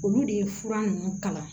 Olu de ye fura ninnu kala